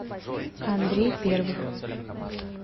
андрей первых